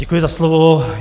Děkuji za slovo.